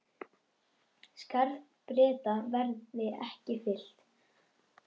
Skarð Breta verði ekki fyllt.